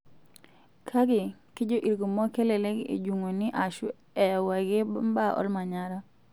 Kake, kejo ilkumok kelelek ejung'uni aaashu eyau ake mbaa olmanyara.